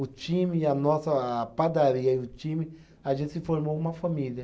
O time, a nossa a padaria e o time, a gente se formou uma família.